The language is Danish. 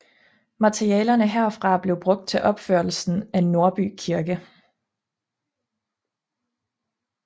Materialerne herfra blev brugt til opførelse af Nordby Kirke